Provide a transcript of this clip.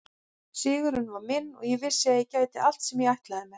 Sigurinn var minn og ég vissi að ég gæti allt sem ég ætlaði mér.